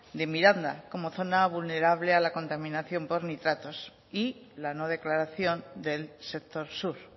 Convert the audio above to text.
de miranda como zona vulnerable a la contaminación por nitratos y la no declaración del sector sur